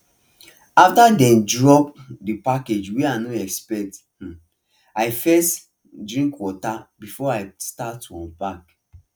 after dem drop um the package wey i no expect um i first um drink water before i start to unpack